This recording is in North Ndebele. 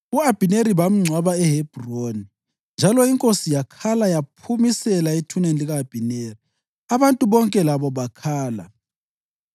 U-Abhineri bamgcwaba eHebhroni, njalo inkosi yakhala yaphumisela ethuneni lika-Abhineri. Abantu bonke labo bakhala.